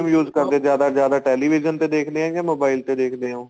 news ਕਾਹਦੇ ਜਿਆਦਾ ਤੋਂ ਜਿਆਦਾ television ਤੇ ਦੇਖਦੇ ਏ ਜਾਂ mobile ਚ ਦੇਖਦੇ ਏ ਉਹ